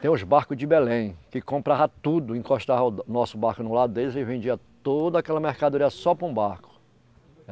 Tem os barcos de Belém, que comprava tudo, encostava o nosso barco no lado deles e vendia toda aquela mercadoria só para um barco.